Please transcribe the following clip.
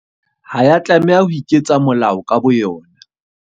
Ha ya tlameha ho iketsa molao ka bo yona.